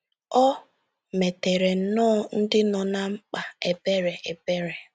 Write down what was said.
O meteere nnọọ ndị nọ ná mkpa ebere. ebere.